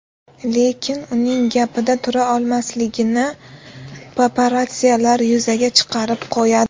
Lekin uning gapida tura olmasligini paparatsiyalar yuzaga chiqarib qo‘yadi.